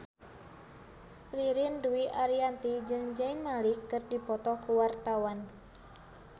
Ririn Dwi Ariyanti jeung Zayn Malik keur dipoto ku wartawan